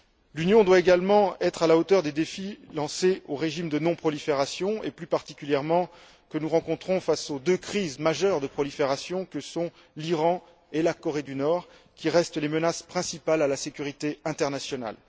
L'Union doit également être à la hauteur des défis lancés au régime de non prolifération, et plus particulièrement, ceux que nous rencontrons face aux deux crises majeures de prolifération que sont l'Iran et la Corée du Nord, qui restent les menaces principales à la sécurité internationale.